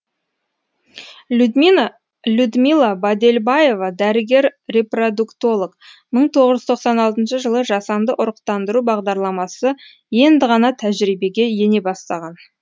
людмила бадельбаева дәрігер репродуктолог бір мың тоғыз жүз тоқсан алтыншы жылы жасанды ұрықтандыру бағдарламасы енді ғана тәжірибеге ене бастаған